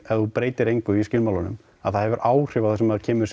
ef þú breytir engu í skilmálunum að það hefur áhrif á það sem kemur